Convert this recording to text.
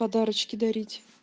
подарочки дарить